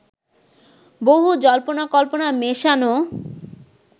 বহু জল্পনা-কল্পনা মেশানো